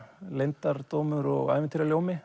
leyndardómur og